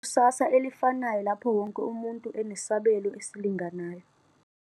.ikusasa elifanayo lapho wonke umuntu enesabelo esilinganayo.